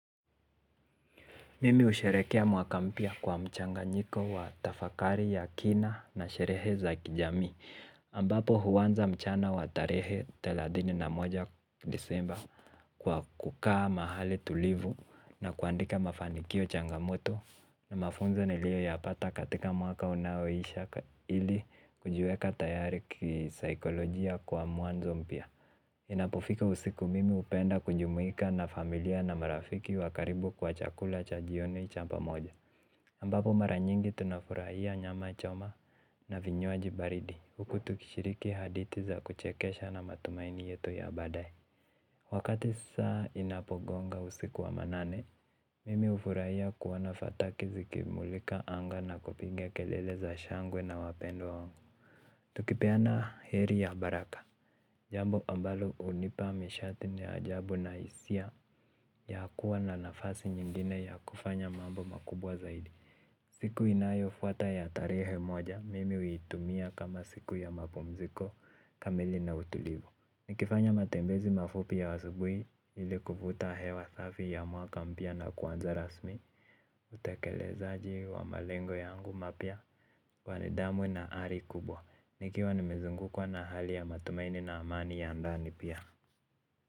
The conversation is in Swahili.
Mimi usherekea mwaka mpya kwa mchanganyiko wa tafakari ya kina na sherehe za kijamii ambapo huwanza mchana wa tarehe thelathini na moja disemba kwa kukaa mahali tulivu na kuandika mafanikio changamoto. Na mafunzo nilio yapata katika mwaka unaoisha ili kujueka tayari kisaikolojia kwa muanzo mpya. Inapofika usiku mimi upenda kujumuika na familia na marafiki wa karibu kwa chakula cha jioni cha pamoja ambapo maranyingi tunafurahia nyama choma na vinywaji baridi huku tukishiriki hadithi za kuchekesha na matumaini yetu ya baadae wakati saa inapogonga usiku wa manane mimi ufurahia kuona fataki zikimulika anga na kupiga kelele za shangwe na wapendwa wangu tukipeana heri ya baraka jambo ambalo unipa mishati na isia ya kuwa na nafasi ingine ya kufanya mambo makubwa zaidi. Siku inayo fuata ya tarehe moja mimi uitumia kama siku ya mapumziko kamili na utulivu. Nikifanya matembezi mafupi ya wasubui ili kuvuta hewa safi ya mwaka mpya na kuanza rasmi. Utekelezaji wa malengo yangu mapya kwa nidhamu na ari kubwa. Nikiwa nimezungukwa na hali ya matumaini na amani ya ndani pia.